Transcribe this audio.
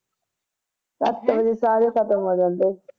ਸੱਤ ਵਜੇ ਸਾਰੇ ਖਤਮ ਹੋ ਜਾਂਦੇ